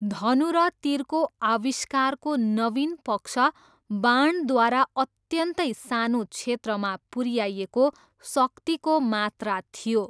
धनु र तीरको आविष्कारको नवीन पक्ष बाणद्वारा अत्यन्तै सानो क्षेत्रमा पुऱ्याइएको शक्तिको मात्रा थियो।